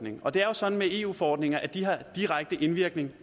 og det er jo sådan med eu forordninger at de har direkte indvirkning